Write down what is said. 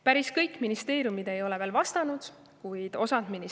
Päris kõik ministeeriumid ei ole veel vastanud, kuid osa on.